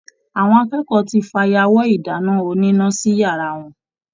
Àwọn akẹ́kọ̀ọ́ tí fayawọ́ ìdáná oníná sí yàrá wọn.